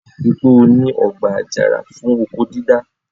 Ri pé ó ní ọgbà àjàrà fún oko dídá?